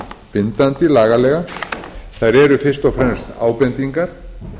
bindandi lagalega þau eru fyrst og færast ábendingar